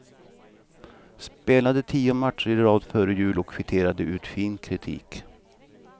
Spelade tio matcher i rad före jul och kvitterade ut fin kritik.